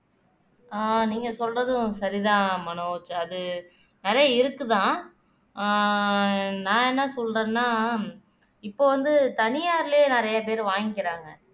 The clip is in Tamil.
ஆஹ் நீங்க சொல்றதும் சரிதான் மனோஜ் அது நிறைய இருக்குதான் ஆஹ் நான் என்ன சொல்றேன்னா இப்ப வந்து தனியாரிலேயே நிறைய பேர் வாங்கிக்கிறாங்க